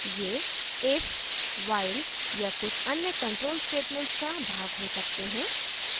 * ये if while या कुछ अन्य control statements का भाग हो सकते हैं